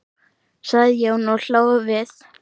sagði Jón og hló við.